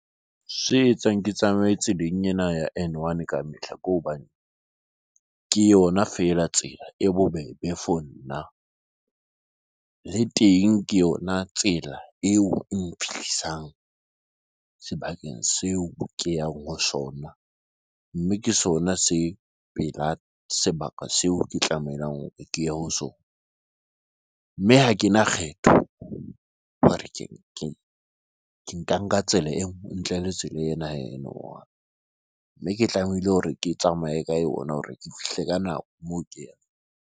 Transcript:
Se etsang ke tsamaye tseleng ena ya N1, ka mehla ke hobane ke yona feela tsela e bobebe for nna le teng, ke yona tsela eo e mphehlisang sebakeng seo ke yang ho sona, mme ke sona se pela sebaka seo ke tlamehang ke ye ho sona mme ha ke na kgetho hore ke nka tsela enngwe ntle le tsela ena ya N1 wa mme ke tlamehile hore ke tsamaye ka yona hore ke fihle ka nako moo ke yang.